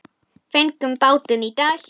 Fengum bátinn í dag.